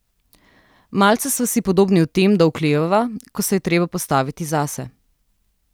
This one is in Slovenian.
Malce sva si podobni v tem, da oklevava, ko se je treba postaviti zase.